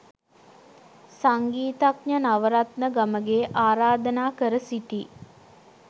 සංගීතඥ නවරත්න ගමගේ ආරාධනා කර සිටී.